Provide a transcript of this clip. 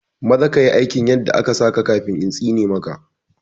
Maza ka yi aikin yadda aka saka kafin intsine ma ka